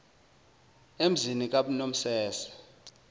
emzini kab nomese